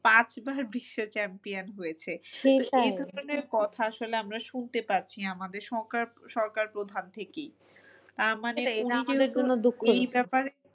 পাঁচবার বিশ্ব champion হয়েছে। কথা আসলে আমরা শুনতে পাচ্ছি আমাদের সরকার প্রধান থেকেই আহ